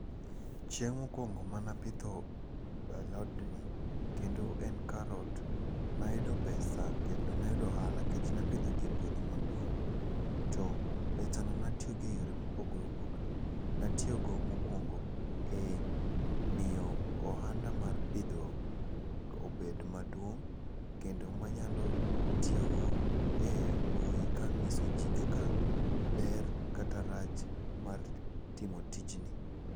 Chieng' mokwongo manapidho alodni, kendo en karot, nayudo pesa kendo nayudo ohala kech napidhogi e puodho maduong'. To pesa no natiyogo e yore mopogore opogore. Natiyogo mokwongo e miyo ohanda mar pidho obed maduong' kendo manyalo tiyogo e mbui kang'iso ji kaka ber kata rach mar timo tinji.